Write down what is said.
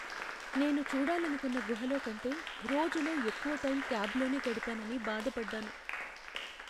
నేను చూడాలనుకున్న గుహలో కంటే రోజులో ఎక్కువ టైం క్యాబ్లోనే గడిపానని బాధ పడ్డాను.